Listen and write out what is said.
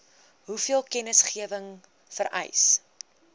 hoeveel kennisgewing vereis